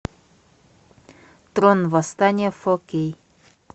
трон восстания фо кей